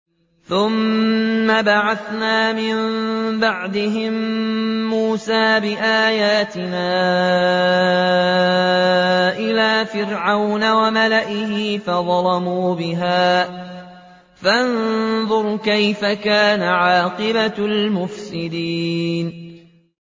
ثُمَّ بَعَثْنَا مِن بَعْدِهِم مُّوسَىٰ بِآيَاتِنَا إِلَىٰ فِرْعَوْنَ وَمَلَئِهِ فَظَلَمُوا بِهَا ۖ فَانظُرْ كَيْفَ كَانَ عَاقِبَةُ الْمُفْسِدِينَ